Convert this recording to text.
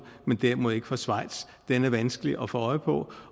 men derimod ikke fra schweiz er vanskelig at få øje på